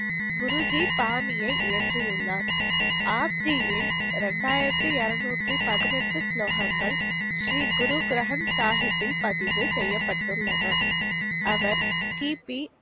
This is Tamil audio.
குருஜி பாணியை இயற்றியுள்ளர். ஆப்ஜியின் ரெண்டாயிரத்தி இருநூத்தி பதினெட்டு ஸ்லோகங்கள் ஸ்ரீ குரு கிரந்த் சாஹிப்பில் பதிவு செயய்பட்டுள்ளன. அவர் கிபி